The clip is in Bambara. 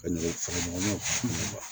Ka nɔgɔn funfun